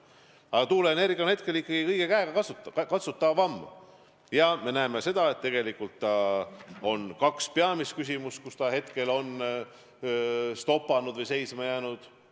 Aga tuuleenergia on praegu ikkagi kõige käegakatsutavam ja me näeme, et tegelikult on kaks peamist küsimust, mille taha see on toppama või seisma jäänud.